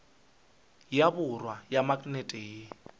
ya borwa ya maknete ye